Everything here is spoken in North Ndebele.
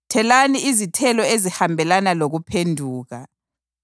Thelani izithelo ezihambelana lokuphenduka.